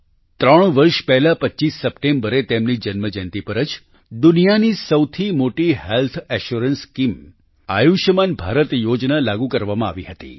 ત્રણ વર્ષ પહેલાં 25 સપ્ટેમ્બરે તેમની જન્મજયંતિ પર જ દુનિયાની સૌથી મોટી health assurance scheme Ayushman Bharat યોજના લાગુ કરવામાં આવી હતી